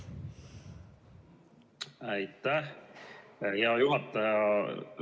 Aitäh, hea juhataja!